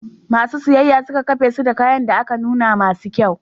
Masu siyayya suka kafesu da kayan da aka nuna masu kyau.